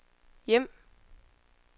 hjem